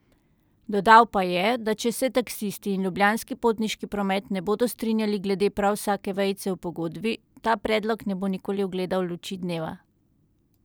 Dodal pa je, da če se taksisti in Ljubljanski potniški promet ne bodo strinjali glede prav vsake vejice v pogodbi, ta predlog ne bo nikoli ugledal luči dneva.